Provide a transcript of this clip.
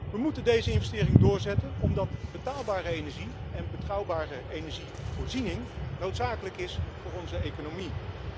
Wij moeten deze investering doorzetten omdat betaalbare energie en betrouwbare energievoorziening noodzakelijk zijn voor onze economie.